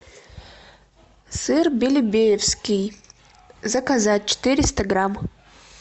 сыр белебеевский заказать четыреста грамм